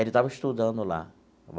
Ele estava estudando lá.